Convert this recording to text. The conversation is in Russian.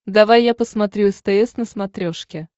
давай я посмотрю стс на смотрешке